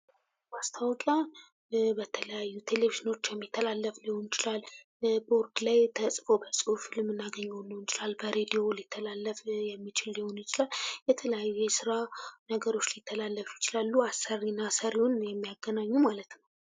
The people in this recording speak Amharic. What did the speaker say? ማስታወቂያ በተለያዩ ቴሌቪኖች የሚተላለፍ ሊሆን ይችላል በተለያዩ ቦርዶች ላይ ተጽፎ የምናገኘው ሊሆን ይችላል በሬድዮ የሚተላለፍ ሆኖ ልናገኘው እንችላለን የተለያዩ የስራ ነገሮች ሊተላለፉበት ይችላሉ አሰሪና ሰሪውን የሚያገናኙ ማለት ነዉ።